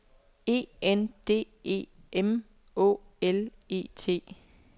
E N D E M Å L E T